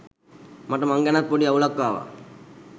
මට මං ගැනත් පොඩි අවුලක් ආවා.